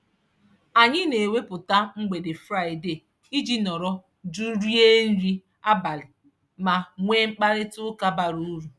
Anyị na-ewepụta mgbede Fraịde iji nọrọ jụụ rie nri abalị ma nwee mkparịtaụka bara uru.